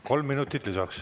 Kolm minutit lisaks.